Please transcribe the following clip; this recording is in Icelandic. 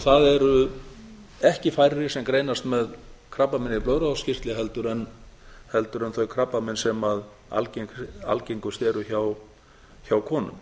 það eru ekki færri sem greinast með krabbamein í blöðruhálskirtli heldur en þau krabbamein sem algengust eru hjá konum